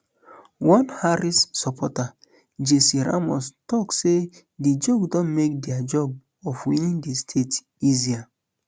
one harris supporter jessie ramos tok say di joke don make dia job of winning di state easier um